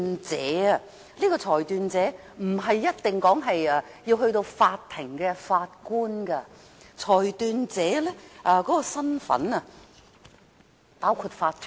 這位裁斷者不一定是法庭的法官，裁斷者的身份包括法團。